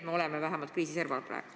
Me oleme vähemalt kriisi serval praegu.